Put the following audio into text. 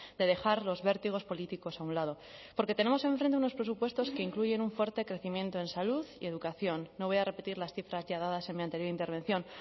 de dejar los vértigos políticos a un lado porque tenemos enfrente unos presupuestos que incluyen un fuerte crecimiento en salud y educación no voy a repetir las cifras ya dadas en mi anterior intervención